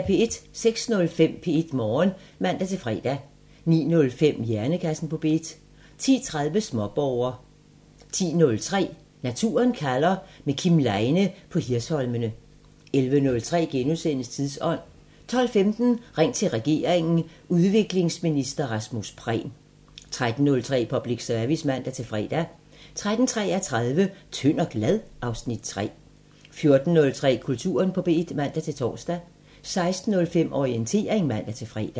06:05: P1 Morgen (man-fre) 09:05: Hjernekassen på P1 10:03: Småborger 10:30: Naturen kalder – med Kim Leine på Hirsholmene 11:03: Tidsånd * 12:15: Ring til regeringen: Udviklingsminister Rasmus Prehn 13:03: Public Service (man-fre) 13:33: Tynd og glad? (Afs. 3) 14:03: Kulturen på P1 (man-tor) 16:05: Orientering (man-fre)